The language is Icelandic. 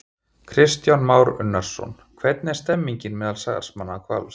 Kristján Már Unnarsson: Hvernig er stemningin meðal starfsmanna Hvals?